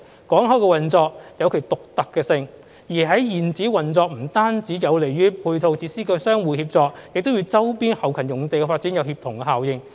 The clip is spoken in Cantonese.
港口的運作有其獨特性，在現址運作不單有利於配套設施的相互協作，亦與周邊後勤用地的發展有協同效應。